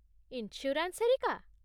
Insurance ହେରିକା?